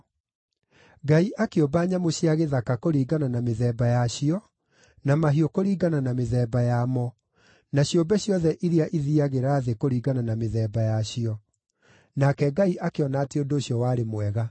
Ngai akĩũmba nyamũ cia gĩthaka kũringana na mĩthemba yacio, na mahiũ kũringana na mĩthemba yamo, na ciũmbe ciothe iria ithiiagĩra thĩ kũringana na mĩthemba yacio. Nake Ngai akĩona atĩ ũndũ ũcio warĩ mwega.